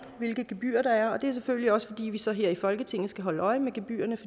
hvilke gebyrer der er og det er selvfølgelig også fordi vi så her i folketinget skal holde øje med gebyrerne